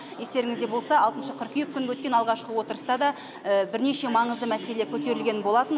естеріңізде болса алтыншы қыркүйек күнгі өткен алғашқы отырыста да бірнеше маңызды мәселе көтерілген болатын